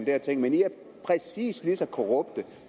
her ting men i er præcis lige så korrupte